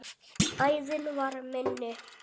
Æðin var minni.